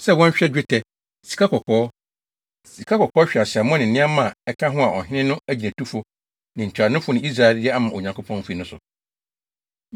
sɛ wɔnhwɛ dwetɛ, sikakɔkɔɔ, sikakɔkɔɔ hweaseammɔ ne nneɛma a ɛka ho a ɔhene no nʼagyinatufo, ne ntuanofo ne Israelfo de ama Onyankopɔn fi no so.